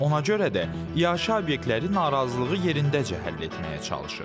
Ona görə də iaşə obyektləri narazılığı yerindəcə həll etməyə çalışır.